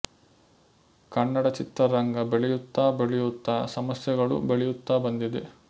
ಕನ್ನಡದ ಚಿತ್ರ ರಂಗ ಬೆಳೆಯುತ್ತಾ ಬೆಳೆಯುತ್ತಾ ಸಮಸ್ಯೆಗಳೂ ಬೆಳೆಯುತ್ತಾ ಬಂದಿದೆ